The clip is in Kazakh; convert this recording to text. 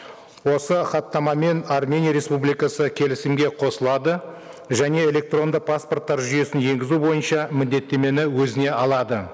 осы хаттамамен армения республикасы келісімге қосылады және электронды паспорттар жүйесін енгізу бойынша міндеттемені өзіне алады